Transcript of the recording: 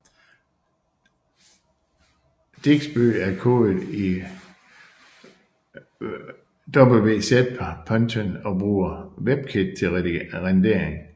Digsby er kodet i wxPython og bruger Webkit til rendering